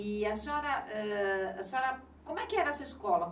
E a senhora, ãn... como é que era essa escola?